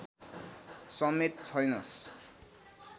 समेत छैनस्